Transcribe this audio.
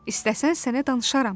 İstəsən sənə danışaram.